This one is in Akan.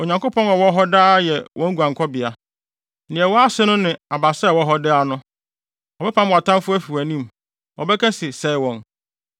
Onyankopɔn a ɔwɔ hɔ daa yɛ wo guankɔbea; nea ɛwɔ ase no ne abasa a ɛwɔ hɔ daa no. Ɔbɛpam wʼatamfo afi wʼanim; ɔbɛka se, ‘Sɛe wɔn!’